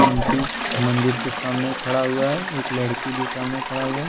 शिव मंदीर के सामने खड़ा हुआ है एक लड़की भी सामने खड़ा हुआ--